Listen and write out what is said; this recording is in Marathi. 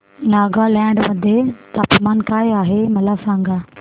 नागालँड मध्ये तापमान काय आहे मला सांगा